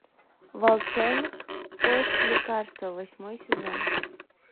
волчонок поиск лекарства восьмой сезон